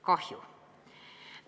Kahju.